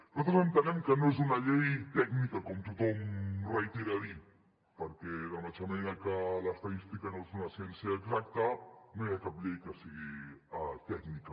nosaltres entenem que no és una llei tècnica com tothom reitera a dir perquè de la mateixa manera que l’estadística no és una ciència exacta no hi ha cap llei que sigui tècnica